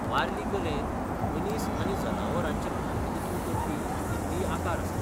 वारली कलेंत मनीस आनी जनावरांचें प्रतिनिधित्व करपी भूमितीय आकार आसात.